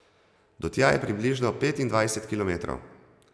Do tja je približno petindvajset kilometrov.